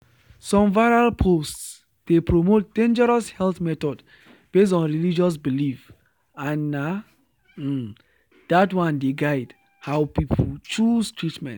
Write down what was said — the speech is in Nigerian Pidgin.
some viral posts dey promote dangerous health methods based on religious belief and na um that one dey guide how people choose treatment.”